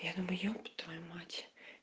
я думаю ёб твою мать